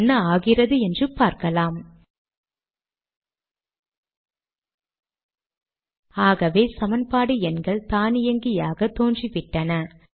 என்ன ஆகிறது என்று பார்க்கலாம் ஆகவே சமன்பாடு எண்கள் தானியங்கியாக தோன்றிவிட்டன